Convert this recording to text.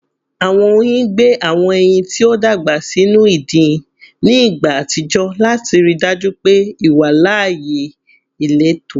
Awọn oyin gbe awọn ẹyin ti o dagba sinu idin ni igba atijọ lati rii daju pe iwalaaye ileto